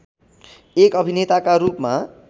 एक अभिनेताका रूपमा